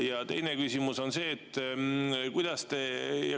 Ja teine küsimus on see.